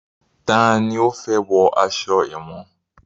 Tani ó fẹ́ wọ aṣọ èwọ̀n?